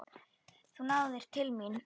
Þú náðir til mín.